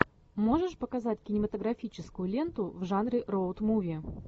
можешь показать кинематографическую ленту в жанре роуд муви